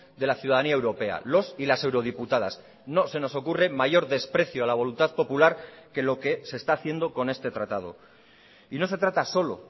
de la ciudadanía europea los y las eurodiputadas no se nos ocurre mayor desprecio a la voluntad popular que lo que se está haciendo con este tratado y no se trata solo